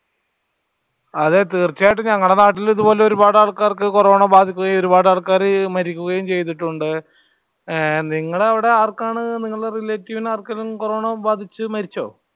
അതെ തീർച്ചയായിട്ടും ഞങ്ങടെ നാട്ടിലു ഇതുപോലെ ഒരുപാട് ആൾക്കാർക്ക് കൊറോണ ബാധിക്കുകയും ഒരുപാട് ആൾക്കാര് മരിക്കുകയും ചെയ്തിട്ടുണ്ട്. നിങ്ങളുടെ അവിടെ ആർക്കാണ് നിങ്ങളുടെ relative ഇനു ആർക്കേലും കൊറോണ ബാധിച്ചു മരിച്ചോ?